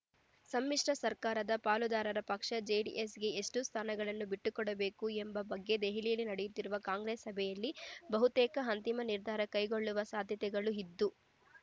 ಸಮ್ಮಿಶ್ರ ಸರ್ಕಾರದ ಪಾಲುದಾರ ಪಕ್ಷ ಜೆಡ್ ಎಸ್‌ಗೆ ಎಷ್ಟು ಸ್ಥಾನಗಳನ್ನು ಬಿಟ್ಟುಕೊಡಬೇಕು ಎಂಬ ಬಗ್ಗೆ ದೆಹಲಿಯಲ್ಲಿ ನಡೆಯುತ್ತಿರುವ ಕಾಂಗ್ರೆಸ್ ಸಭೆಯಲ್ಲಿ ಬಹುತೇಕ ಅಂತಿಮ ನಿರ್ಧಾರ ಕೈಗೊಳ್ಳುವ ಸಾಧ್ಯತೆಗಳು ಇದ್ದು